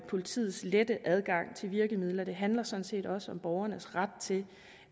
politiets lette adgang til virkemidler det handler sådan set også om borgernes ret til